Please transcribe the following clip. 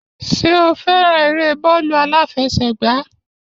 Ṣé o fẹ́ràn eré bọ́ọ̀lù àfẹsẹ̀gba?